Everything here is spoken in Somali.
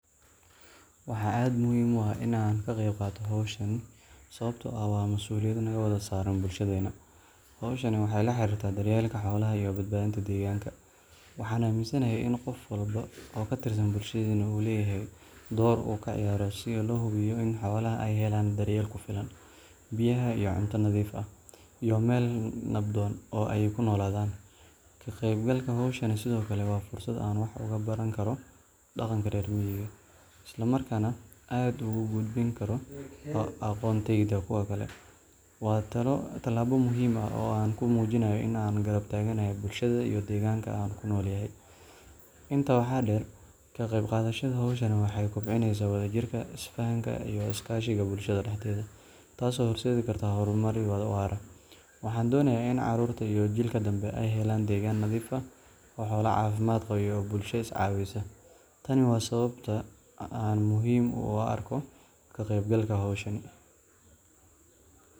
Waxaa aad muhiim u ah in aan ka qayb qaato hawshan sababtoo ah waa masuuliyad naga wada saaran bulshadeenna. Hawshan waxay la xiriirtaa daryeelka xoolaha iyo badbaadada deegaanka. Waxaan aaminsanahay in qof walba oo ka tirsan bulshadeenna uu leeyahay door uu ka ciyaaro si loo hubiyo in xoolaha ay helaan daryeel ku filan, biyaha iyo cunto nadiif ah, iyo meel nabdoon oo ay ku noolaadaan. Ka qaybgalka hawshan sidoo kale waa fursad aan wax uga baran karo dhaqanka reer miyiga, isla markaana aan ugu gudbin karo aqoontayda kuwa kale. Waa tallaabo muhim ah oo aan ku muujinayo in aan garab taaganahay bulshada iyo deegaanka aan ku noolahay. Intaa waxaa dheer, ka qayb qaadashada hawshan waxay kobcinaysaa wadajirka, isfahamka, iyo is-kaashiga bulshada dhexdeeda, taasoo horseedi karta horumar waara. Waxaan doonayaa in carruurta iyo jiilka dambe ay helaan degaan nadiif ah, xoolo caafimaad qaba, iyo bulsho is-caawisa. Tani waa sababta aan muhiim u arko ka qeybgalka hawshan.